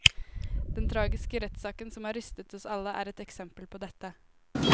Den tragiske rettssaken som har rystet oss alle, er et eksempel på dette.